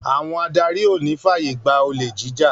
Àwọn adarí ò ní fàyègbà olè jíjà